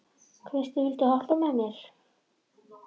Kristine, viltu hoppa með mér?